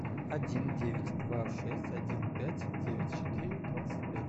один девять два шесть один пять девять четыре двадцать пять